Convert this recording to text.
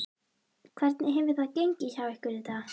Hvernig hefur gengið hjá ykkur í dag?